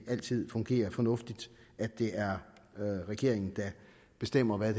altid fungerer fornuftigt at det er regeringen der bestemmer hvad